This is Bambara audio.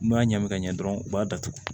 N b'a ɲɛgɛn ka ɲɛ dɔrɔn u b'a datugu